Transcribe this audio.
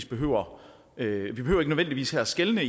behøver ikke nødvendigvis at skelne